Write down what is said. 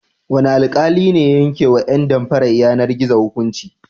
Wane alƙali ne ya yankewa ƴan damfarar yanar-gizo hukunci?